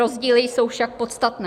Rozdíly jsou však podstatné.